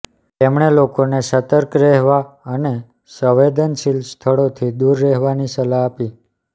તેમણે લોકોને સતર્ક રહેવા અને સંવેદનશીલ સ્થળોથી દૂર રહેવાની સલાહ આપી